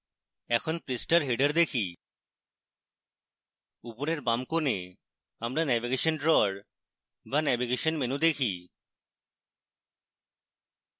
এখন পৃষ্ঠার header দেখি উপরের বাম corner আমরা navigation drawer বা navigation menu দেখি